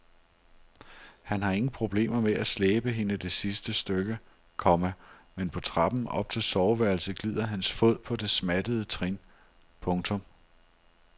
Han har ingen problemer med at slæbe hende det sidste stykke, komma men på trappen op til soveværelset glider hans fod på det smattede trin. punktum